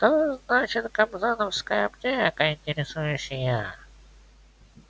что значит кобзоновская аптека интересуюсь я